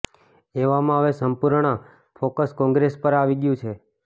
એવામાં હવે સંપૂર્ણ ફોકસ કોંગ્રેસ પર આવી ગયું છે